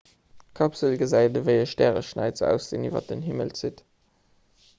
d'kapsel gesäit ewéi e stäreschnäiz aus deen iwwer den himmel zitt